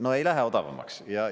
No ei lähe odavamaks!